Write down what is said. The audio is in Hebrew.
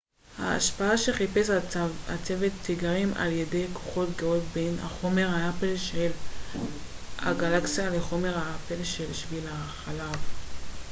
ההשפעה שחיפש הצוות תיגרם על ידי כוחות גאות בין החומר האפל של הגלקסיה לחומר האפל של שביל החלב